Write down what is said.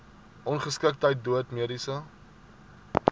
ongeskiktheid dood mediese